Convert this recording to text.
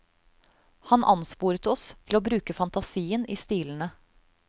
Han ansporet oss til å bruke fantasien i stilene.